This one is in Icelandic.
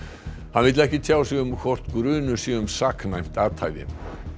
hann vill ekki tjá sig um hvort grunur sé um saknæmt athæfi